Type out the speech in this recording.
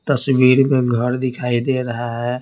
तस्वीर में घर दिखाई दे रहा है।